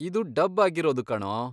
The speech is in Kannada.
ಇದು ಡಬ್ ಆಗಿರೋದು ಕಣೋ.